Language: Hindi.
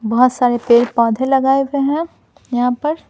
बहुत सारे पेड़-पौधे लगाए हुए हैं यहां पर--